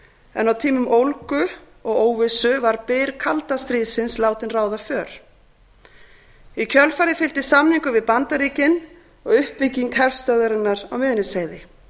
en á tímum ólgu og óvissu var byr kalda stríðsins látinn ráða för í kjölfarið fylgdi samningur við bandaríkin og uppbygging herstöðvarinnar á miðnesheiði